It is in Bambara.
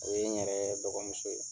O ye n yɛrɛ dɔgɔmuso ye